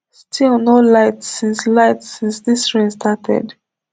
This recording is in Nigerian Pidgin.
still no lights since lights since dis rain started